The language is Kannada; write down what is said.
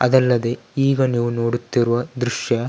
ಅದಲ್ಲದೆ ಈಗ ನೀವು ನೋಡುತ್ತಿರುವ ದೃಶ್ಯ --